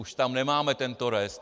Už tam nemáme tento rest.